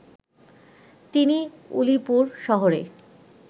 তিনি উলিপুর শহরে